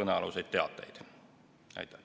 kõnealuseid teateid avaldada.